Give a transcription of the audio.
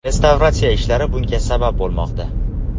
Restavratsiya ishlari bunga sabab bo‘lmoqda.